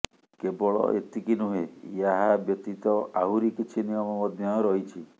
କେବଳ ଏତିକି ନୁହେଁ ଏହା ବ୍ୟତିତ ଆହୁରି କିଛି ନିୟମ ମଧ୍ୟ ରହିଛି